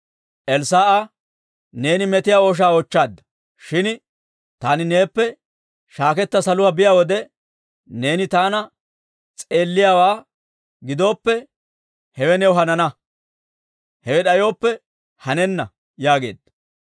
Elssaa'a, «Neeni metiyaa ooshaa oochchaadda. Shin taani neeppe shaaketta saluwaa biyaa wode neeni taana s'eelliyaawaa gidooppe, hewe new hanana. Hewe d'ayooppe hanenna» yaageedda.